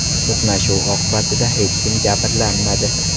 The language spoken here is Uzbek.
To‘qnashuv oqibatida hech kim jabrlanmadi.